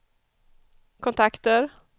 kontakter